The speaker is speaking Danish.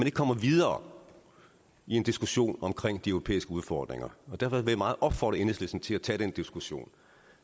ikke kommer videre i en diskussion om de europæiske udfordringer og derfor vil jeg meget opfordre enhedslisten til at tage den diskussion